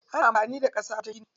Ana amfani da ƙasa wajen gina gida.